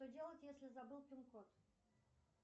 что делать если забыл пин код